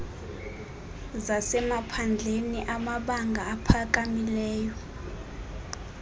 zasemaphandleni amabanga aphakamileyo